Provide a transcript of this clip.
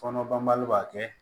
Fɔnɔ banbali b'a kɛ